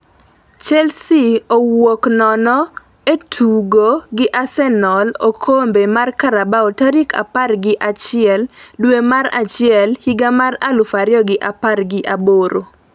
Chelsea owuok nono e tugo gi Arsenal okombe mar Carabao tarik apar gi achiel dwe mar achiel higa mar aluf ariyo gi apar gi aboro